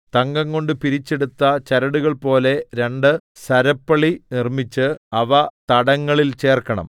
തങ്കംകൊണ്ട് പിരിച്ചെടുത്ത ചരടുകൾ പോലെ രണ്ട് സരപ്പളി നിർമ്മിച്ച് അവ തടങ്ങളിൽ ചേർക്കണം